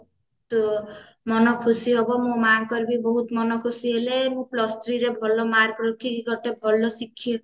ମନ ଖୁସି ହବ ମୋ ମାଙ୍କର ବି ବହୁତ ମନ ଖୁସି ହେଲେ ମୁଁ plus three ରେ ବହୁତ mark ରଖିକି ଗୋଟେ ଭଲ